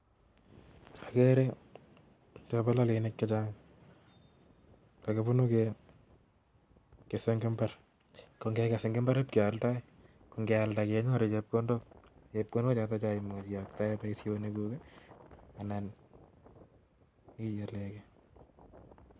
agere chepololonik chechang kakipunu kekese eng mbar. ko ngeges eng mbar, kialdoi ko ngealda kenyoru chepkondok, ko chepkondok chotok imuchi ioktae paishonekuk anan igelegei.